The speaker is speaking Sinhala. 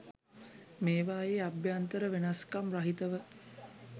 මේවායේ අභ්‍යන්තර වෙනස්කම් රහිතව